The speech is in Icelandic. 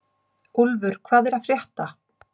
Úlfur, hvað er að frétta?